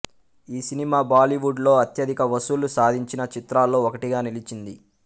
ఈ సినిమా బాలీవుడ్ లో అత్యధిక వసూళ్ళు సాధించిన చిత్రాల్లో ఒకటిగా నిలిచింది